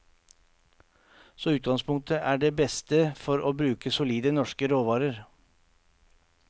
Så utgangspunktet er det beste for å bruke solide norske råvarer.